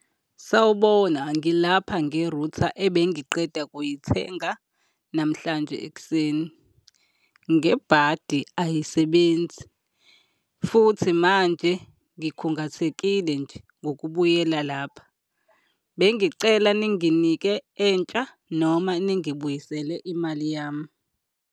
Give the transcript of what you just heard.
Sawubona, ngilapha nge-router ebengiqeda kuyithenga namhlanje ekuseni. Ngebhadi ayisebenzi futhi manje ngikhungathekile nje ngokubuyela lapha. Bengicela ninginike entsha noma ningibuyisele imali yami.